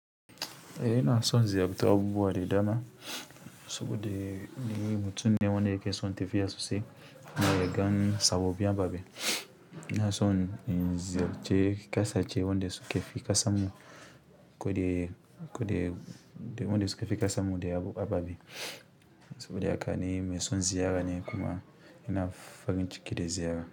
Ina son ziyartar abubuwa da dama, saboda ni mutum ne wanda yake son yi tafiya sosai, kuma ya ga sababbin ina son na ziyarci ƙasashe wanda suka fi ƙasar mu ababe, saboda haka ni mai son ziyara ne kuma ina farin ciki da ziyara.